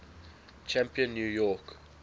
champion new york